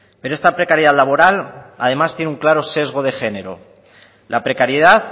pero esta precariedad laboral además tiene un claro sesgo de género la precariedad